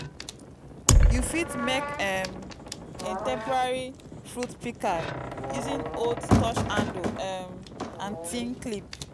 you fit mek um a temporary fruit pika using old torch handle um and tin clip